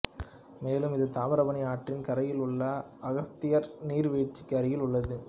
மேலும் இது தாமிராபராணி ஆற்றின் கரையில் உள்ள அகஸ்தியார் நீர்வீழ்ச்சிக்கு அருகில் உள்ளது